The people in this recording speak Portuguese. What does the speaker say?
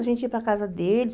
A gente ia para casa deles.